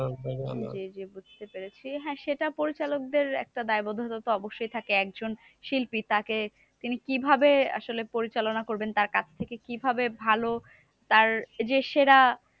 জি জি বুঝতে পেরেছি। হ্যাঁ সেটা পরিচালকদের একটা দায়বদ্ধতা তো অবশ্যই থাকে। একজন শিল্পী তাকে তিনি কিভাবে আসলে পরিচালনা করবেন তার কাজটা কে কিভাবে ভালো তার যে সেরা